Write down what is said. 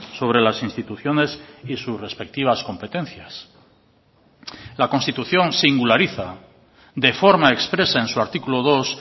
sobre las instituciones y sus respectivas competencias la constitución singulariza de forma expresa en su artículo dos